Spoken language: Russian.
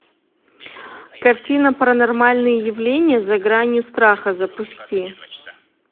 картина паранормальные явления за гранью страха запусти